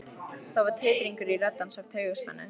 Það var titringur í rödd hans af taugaspennu.